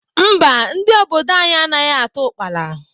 Mba, ndị obodo anyị anaghị ata ukpala.